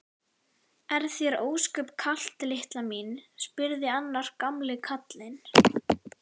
Er þér ósköp kalt litla mín? spurði annar gamli karlinn.